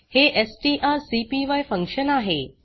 हे एसटीआरसीपाय फंक्शन आहे